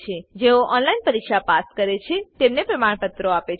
જેઓ ઓનલાઈન પરીક્ષા પાસ કરે છે તેઓને પ્રમાણપત્રો આપે છે